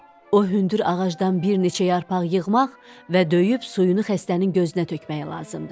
O hündür ağacdan bir neçə yarpaq yığmaq və döyüb suyunu xəstənin gözünə tökmək lazımdır.